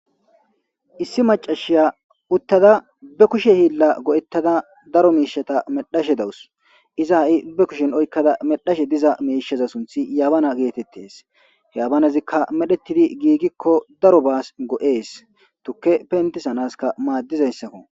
issi macashiya uttada be kushe hiilla go'ettada daro miishata medhashe dawus iza ha'i be kushen oykkada medhashe diza miishaza sunthi yaabana geetettes he yabanezikka medhetidi giigikko daro baas go'ees tukke pentisanaska maaddizayssakko